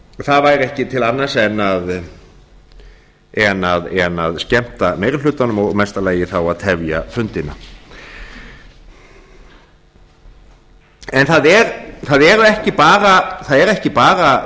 það væri ekki til annars en að skemmta meiri hlutanum og í mesta lagi þá að tefja fundina það eru ekki bara